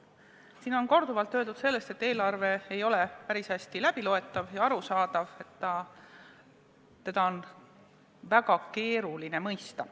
Siin on korduvalt öeldud, et eelarve ei ole päris hästi loetav ja arusaadav, et seda on väga keeruline mõista.